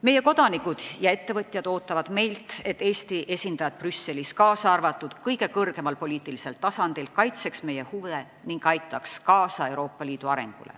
Meie kodanikud ja ettevõtjad ootavad meilt, et Eesti esindajad Brüsselis, kaasa arvatud kõige kõrgemal poliitilisel tasandil, kaitseks meie huve ning aitaks kaasa Euroopa Liidu arengule.